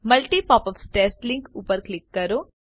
multi popup test link ઉપર click કરો